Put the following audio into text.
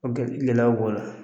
O gɛ , gɛlɛyaw bɔ la.